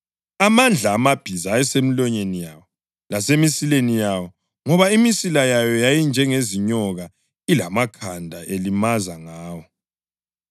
Amandla amabhiza ayesemilonyeni yawo lasemisileni yawo ngoba imisila yawo yayinjengezinyoka ilamakhanda elimaza ngawo.